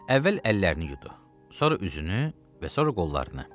Əvvəl əllərini yudu, sonra üzünü və sonra qollarını.